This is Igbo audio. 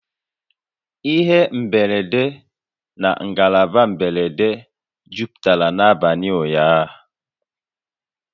Ihe mberede na ngalaba mberede jupụtara n'abalị ụnyaahụ